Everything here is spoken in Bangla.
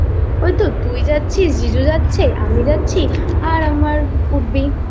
ওই তো তুই যাচ্ছিস জিজু যাচ্ছে আমি যাচ্ছি আর আমার would be